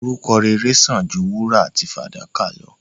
Orúkọ rere sán àn ju wúrà àti fàdákà lọ.